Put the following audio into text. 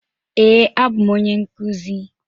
Ee, abụ m onye nkuzi.